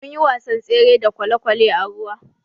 Munyi wasan tsere da kwalekwale a ruwa.